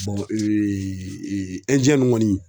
ɛndiyɛn kɔni